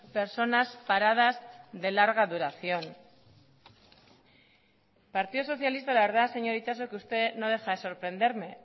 personas paradas de larga duración partido socialista la verdad señora itxaso que usted no deja de sorprenderme